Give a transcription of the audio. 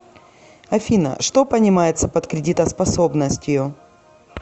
афина что понимается под кредитоспособностью